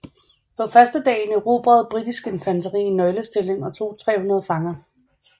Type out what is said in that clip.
På førstedagen erobrede britisk infanteri en nøglestilling og tog 300 fanger